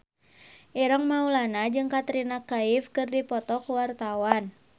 Ireng Maulana jeung Katrina Kaif keur dipoto ku wartawan